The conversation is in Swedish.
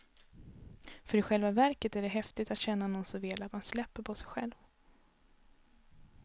För i själva verket är det häftigt att känna någon så väl att man släpper på sig själv.